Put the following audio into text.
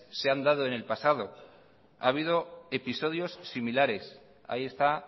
se han dado en el pasado ha habido episodios similares ahí está